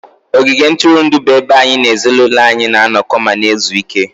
ogige ntụrụndụ bụ ebe anyị na ezinụlọ anyị na-anọkọ ma na-ezu ike